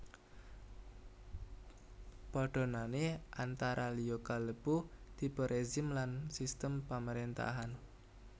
Padhanané antara liya kalebu tipe rezim lan sistem pamaréntahan